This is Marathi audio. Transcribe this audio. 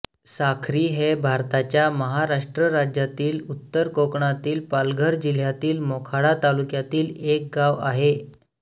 साखरी हे भारताच्या महाराष्ट्र राज्यातील उत्तर कोकणातील पालघर जिल्ह्यातील मोखाडा तालुक्यातील एक गाव आहे